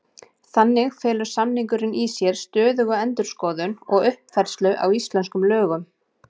Þannig felur samningurinn í sér stöðuga endurskoðun og uppfærslu á íslenskum lögum.